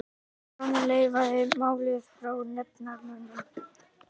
Baróninn reifaði málið fyrir nefndarmönnum.